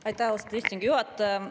Aitäh, austatud istungi juhataja!